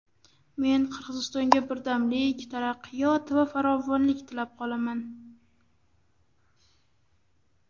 Men Qirg‘izistonga birdamlik, taraqqiyot va farovonlik tilab qolaman!”